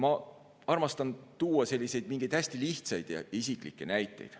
Ma armastan tuua hästi lihtsaid ja isiklikke näiteid.